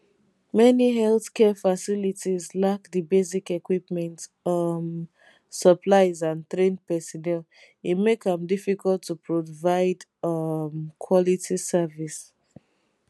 many healthcare facilities lack di basic equipment um supplies and trained personnel e make am difficult to provide um quality service